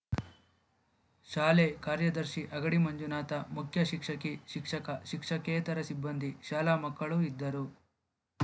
ಶಾಲೆ ಕಾರ್ಯದರ್ಶಿ ಅಗಡಿ ಮಂಜುನಾಥ ಮುಖ್ಯಶಿಕ್ಷಕಿ ಶಿಕ್ಷಕ ಶಿಕ್ಷಕೇತರ ಸಿಬ್ಬಂದಿ ಶಾಲಾ ಮಕ್ಕಳು ಇದ್ದರು